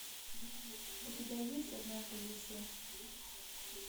у тебя есть однажды в лесу